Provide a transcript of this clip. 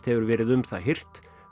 hefur verið um það hirt